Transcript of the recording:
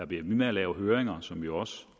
bliver ved med at lave høringer som vi jo også